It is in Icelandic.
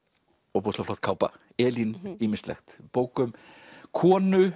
ofboðslega flott kápa Elín ýmislegt bók um konu